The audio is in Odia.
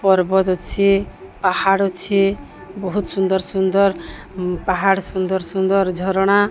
ପାହାଡ ଅଛି। ବହୁତ ସୁଂଦର ସୁଂଦର ପାହାଡ ସୁଂଦର ସୁଂଦର ଝରଣା --